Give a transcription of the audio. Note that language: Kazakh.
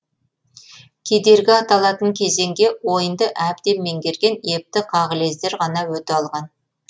кедергі аталатын кезеңге ойынды әбден меңгерген епті қағылездер ғана өте алған